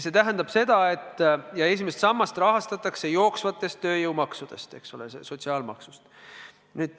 Esimest sammast rahastatakse jooksvatest tööjõumaksudest, eks ole, sotsiaalmaksust.